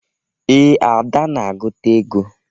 Ee, Ada na-agụta ego.